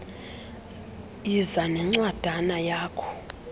yiza nencwadana yakho